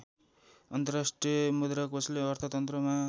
अन्तर्राष्ट्रिय मुद्राकोषले अर्थतन्त्रमा